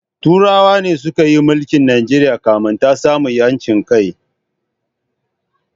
Turawan ne suka yi milke Najeriya kafin ta samu ‘yancin kai.